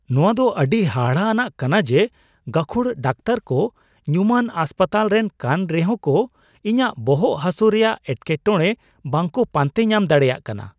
ᱱᱚᱶᱟ ᱫᱚ ᱟᱹᱰᱤ ᱦᱟᱦᱟᱲᱟ ᱟᱱᱟᱜ ᱠᱟᱱᱟ ᱡᱮ ᱜᱟᱹᱠᱷᱩᱲ ᱰᱟᱠᱛᱟᱨ ᱠᱚ ᱧᱩᱢᱟᱱ ᱦᱟᱥᱯᱟᱛᱟᱞ ᱨᱮᱱ ᱠᱟᱱ ᱨᱮᱦᱚᱸ ᱠᱚ ᱤᱧᱟᱜ ᱵᱚᱦᱚᱜ ᱦᱟᱹᱥᱩ ᱨᱮᱭᱟᱜ ᱮᱴᱠᱮᱴᱚᱲᱮ ᱵᱟᱝᱠᱚ ᱯᱟᱱᱛᱮ ᱧᱟᱢ ᱫᱟᱮᱲᱮᱭᱟᱜ ᱠᱟᱱᱟ ᱾